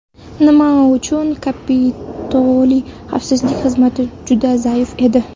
Nima uchun Kapitoliy xavfsizlik xizmati juda zaif edi?